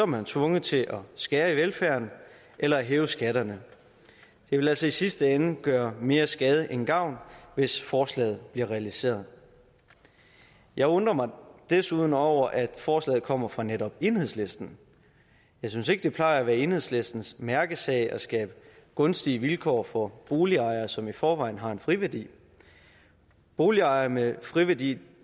man tvunget til at skære i velfærden eller at hæve skatterne det vil altså i sidste ende gøre mere skade end gavn hvis forslaget bliver realiseret jeg undrer mig desuden over at forslaget kommer fra netop enhedslisten jeg synes ikke det plejer at være enhedslistens mærkesag at skabe gunstige vilkår for boligejere som i forvejen har en friværdi boligejere med friværdi